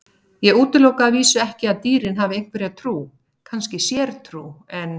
Ég útiloka að vísu ekki að dýrin hafi einhverja trú, kannski sértrú, en.